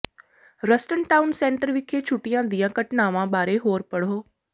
Ruston town centre ਵਿਖੇ ਛੁੱਟੀਆਂ ਦੀਆਂ ਘਟਨਾਵਾਂ ਬਾਰੇ ਹੋਰ ਪੜ੍ਹੋ